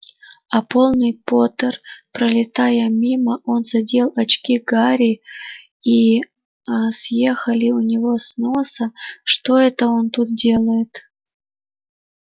а полный поттер пролетая мимо он задел очки гарри и аа они съехали у него с носа что это он тут делает